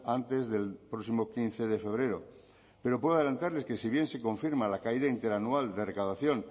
antes del próximo quince de febrero pero puedo adelantarles que si bien se confirma la caída interanual de recaudación